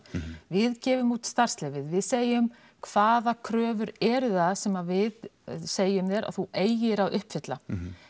við gefum út starfsleyfið við segjum hvaða kröfur eru það sem við segjum þér að þú eigir að uppfylla